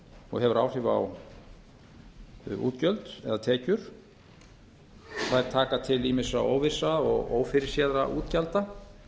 og hefur áhrif á útgjöldum eða tekjur þær taka til ýmissa óvissra og ófyrirséðra útgjalda